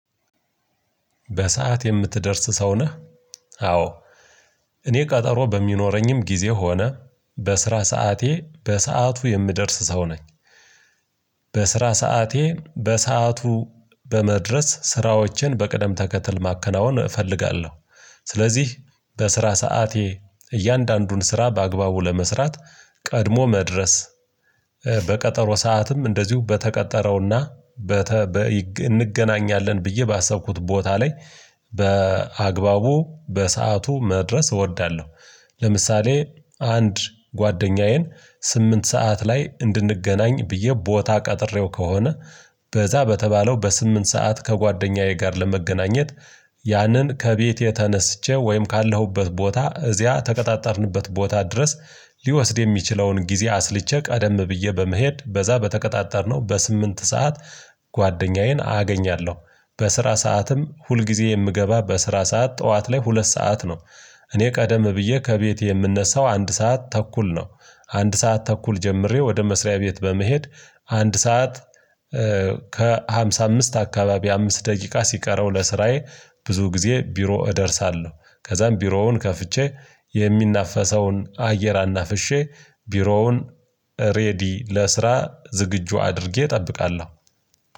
በሰአት የምትደርስ ሰው ነህ? አዎ እኔ ቀጠሮ በሚኖረኝም ጊዜ ሆነ በስራ ሰዓቴ በሰአቱ የምደርስ ሰው ነኝ። በስራ ሰዓቴ በሰአቱ በመድረስ ስራዎችን በቅደም ተከትል ማከናወን እፈልጋለሁ። ስለዚህ በስራ ሰዓቴ እያንዳንዱን ስራ በአግባቡ ለመስራት ቀድሞ መድረስ በቀጠሮ ሰዓትም እንደዚሁ በተቀጠረውና እንገናኛለን ብዬ ባሰብኩት ቦታ ላይ በአግባቡ በሰአቱ መድረስ እወዳለሁ። ለምሳሌ አንድ ጓደኛዬን ስምንት ሰዓት ላይ እንድንገናኝ ብዬ ቦታ ቀጥሬው ከሆነ በዚያ በተባለው በስምንት ሰዓት ከጓደኛዬ ጋር ለመገናኘት ያንን ከቤቴ ተነስቼ ወይም ካለሁበት ቦታ እዚያ የተቀጣጣርንበት ቦታ ድረስ ሊወስድ የሚችለውን ጊዜ አስልቼ ቀደም ብዬ በመሄድ በዚያ በተቀጣጣርነው በስምንት ሰዓት ጓደኛዬን አገኛለሁ። በስራ ሰዓትም ሁልጊዜ የምገባ በስራ ሰዓት ጠዋት ላይ ሁለት ሰዓት ነው። እኔ ቀደም ብዬ ከቤቴ የምነሳው አንድ ሰዓት ተኩል ነው። አንድ ሰዓት ተኩል ጀምሬ ወደ መስሪያ ቤት በመሄድ አንድ ሰዓት ከሃምሳ አምስት አካባቢ አምስት ደቂቃ ሲቀረው ለስራዬ ብዙ ጊዜ ቢሮ እደርሳለሁ። ከዚያም ቢሮውን ከፍቼ የሚናፈሰውን አየር አናፍሼ ቢሮውን ሬዲ ለስራ ዝግጁ አድርጌ እጠብቃለሁ።